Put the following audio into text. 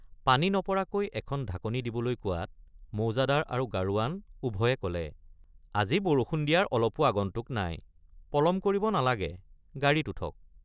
পানী নপৰাকৈ এখন ঢাকনি দিবলৈ কোৱাত মৌজাদাৰ আৰু গাৰোৱান উভয়ে কলে আজি বৰষুণ দিয়াৰ অলপো আগন্তুক নাই পলম কৰিব নালাগে গাড়ীত উঠক।